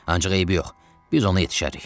Ancaq eybi yox, biz ona yetişərik.